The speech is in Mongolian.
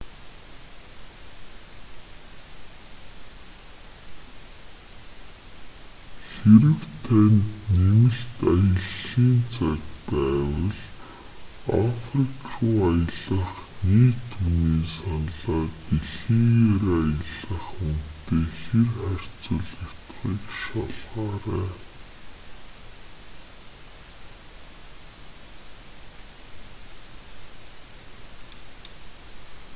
хэрэв танд нэмэлт аяллын цаг байвал африк руу аялах нийт үнийн саналаа дэлхийгээр аялах үнэтэй хир харьцуулагдахыг шалгаарай